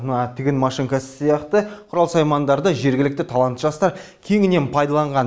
мына тігін машинкасы сияқты құрал саймандарды жергілікті талантты жастар кеңінен пайдаланған